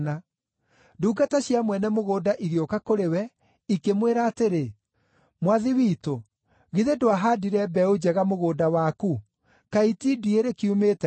“Ndungata cia mwene mũgũnda igĩũka kũrĩ we, ikĩmwĩra atĩrĩ, ‘Mwathi witũ, githĩ ndwahaandire mbeũ njega mũgũnda waku? Kaĩ itindiĩ rĩkiumĩte kũ?’